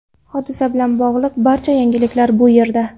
Hodisa bilan bog‘liq barcha yangiliklar bu yerda .